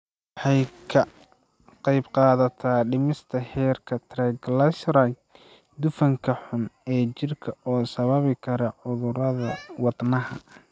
Waxay ka qaybqaadataa dhimista heerarka triglycerides, dufanka xun ee jirka oo sababi kara cudurrada wadnaha.